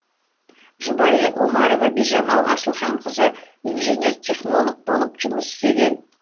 жұбайы омарова бижамал асылханқызы инженер технолог болып жұмыс істеген